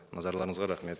назарларыңызға рахмет